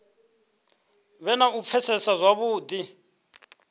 vhe na u pfesesa zwavhudi